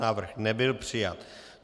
Návrh nebyl přijat.